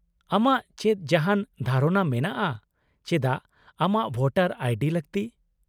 -ᱟᱢᱟᱜ ᱪᱮᱫ ᱡᱟᱦᱟᱱ ᱫᱷᱟᱨᱚᱱᱟ ᱢᱮᱱᱟᱜᱼᱟ ᱪᱮᱫᱟᱜ ᱟᱢᱟᱜ ᱵᱷᱳᱴᱟᱨ ᱟᱭ ᱰᱤ ᱞᱟᱹᱠᱛᱤ ?